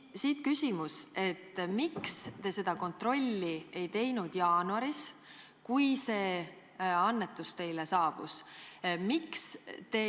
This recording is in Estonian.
Siit küsimus: miks te seda kontrolli ei teinud jaanuaris, kui see annetus teile saabus?